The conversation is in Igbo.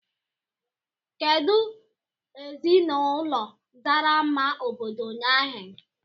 Kedụ ezinaụlọ zara ámá obodo ụnyaahụ?